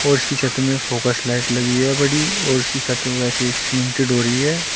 और इसकी छत में फॉक्स लाइट लगी है बड़ी और उसकी छत में वैसे ही सीमेंटिड हो रही है।